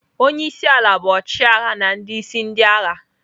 Onye isi ala bụ ọchịagha na ndị isi ndị agha.